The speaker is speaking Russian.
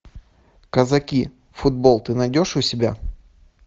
казаки футбол ты найдешь у себя